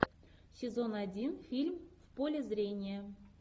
сезон один фильм в поле зрения